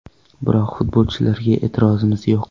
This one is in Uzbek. Biroq futbolchilarga e’tirozimiz yo‘q.